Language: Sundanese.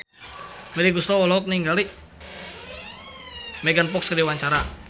Melly Goeslaw olohok ningali Megan Fox keur diwawancara